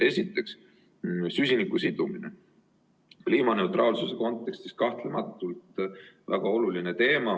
Esiteks, süsiniku sidumine, kliimaneutraalsuse kontekstis kahtlematult väga oluline teema.